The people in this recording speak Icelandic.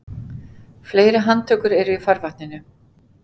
Fleiri handtökur eru í farvatninu